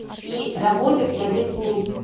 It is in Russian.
и работать над этими